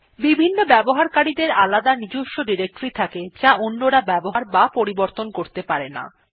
বিভিন্ন ব্যবহারকারী দের আলাদা নিজস্ব ডিরেক্টরী থাকে যা অন্যরা ব্যবহার অথবা পরিবর্তন করতে পারে না